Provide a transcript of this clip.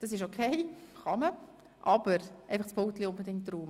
Das ist auch okay, aber bitte räumen Sie unbedingt Ihr Pult.